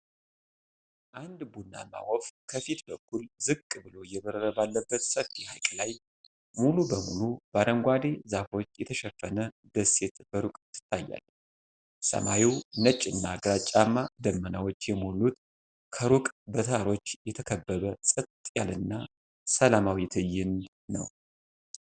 አንድ ቡናማ ወፍ ከፊት በኩል ዝቅ ብሎ እየበረረ ባለበት ሰፊ ሐይቅ ላይ፣ ሙሉ በሙሉ በአረንጓዴ ዛፎች የተሸፈነ ደሴት በሩቅ ትታያለች። ሰማዩ ነጭና ግራጫማ ደመናዎች የሞሉት፣ ከሩቅ በተራሮች የተከበበ ጸጥ ያለና ሰላማዊ ትዕይንት ነው።